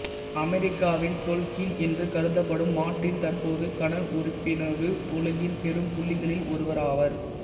அமெரிக்காவின் டொல்கீன் என்று கருதப்படும் மார்ட்டின் தற்போது கனவுருப்புனைவு உலகின் பெரும் புள்ளிகளில் ஒருவராவார்